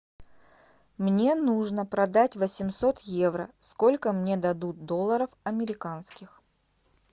мне нужно продать восемьсот евро сколько мне дадут долларов американских